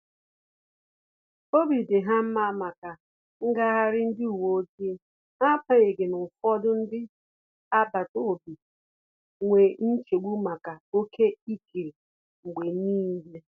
Obi di ha nma maka ngaghari ndi uweojii na agbanyighi na ụfọdụ ndị agbata obi nwee nchegbu maka oke ịkiri mgbe niile